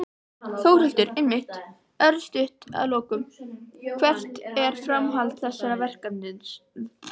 Þórhildur: Einmitt, örstutt að lokum, hvert er framhald þessa verkefnis?